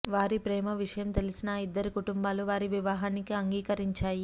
వారి ప్రేమ విషయం తెలిసిన ఆ ఇద్దరి కుటుంబాలు వారి వివాహానికి అంగీకరించాయి